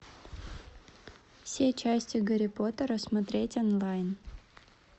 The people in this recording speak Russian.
все части гарри поттера смотреть онлайн